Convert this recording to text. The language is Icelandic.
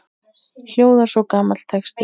hljóðar svo gamall texti